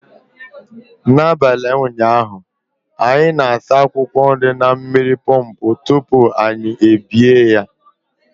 N'abalị ụnyaahụ, anyị na-asa akwụkwọ nri na mmiri pọmpụ tupu anyị ebibie ha